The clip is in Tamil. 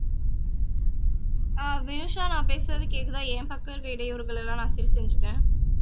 அஹ் நான் பேசுறது கேக்குதா என் பக்கம் இருக்க இடையூறுகளை எல்லாம் நான் சரி செஞ்சுட்டேன்